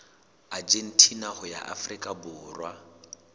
argentina ho ya afrika borwa